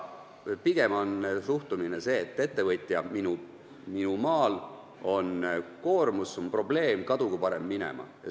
Pigem on suhtumine see, et ettevõtja minu maal on koormus, see on probleem, kadugu parem minema.